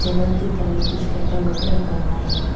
Table के ऊपर में कुछ पेपर लोग भी रखा हुआ है।